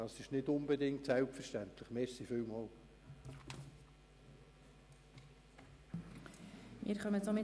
Das ist nicht selbstverständlich, ich danke Ihnen dafür.